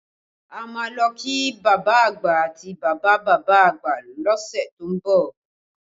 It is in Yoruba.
A máa lọ kí bàbá àgbà àti bàbá bàbá àgbà lọ́sẹ̀ tó ń bọ̀